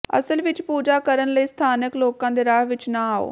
ਅਸਲ ਵਿੱਚ ਪੂਜਾ ਕਰਨ ਲਈ ਸਥਾਨਕ ਲੋਕਾਂ ਦੇ ਰਾਹ ਵਿੱਚ ਨਾ ਆਓ